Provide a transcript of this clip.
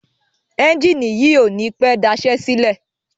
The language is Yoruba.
Ẹ́njìnì yìí ò ní pẹ́ daṣẹ́ sílẹ̀.